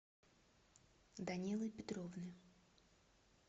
данилы петровны